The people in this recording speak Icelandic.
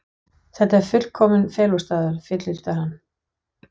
Þetta er fullkominn felustaður, fullyrti hann.